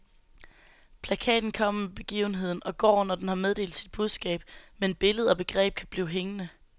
Plakaten kommer med begivenheden og går, når den har meddelt sit budskab, men billede og begreb kan blive hængende.